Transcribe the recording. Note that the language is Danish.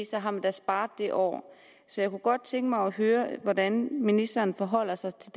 så har man da sparet det år så jeg kunne godt tænke mig at høre hvordan ministeren forholder sig til